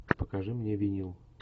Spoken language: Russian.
покажи мне винил